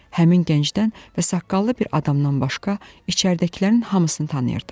Həmin gəncdən və saqqallı bir adamdan başqa içəridəkilərin hamısını tanıyırdım.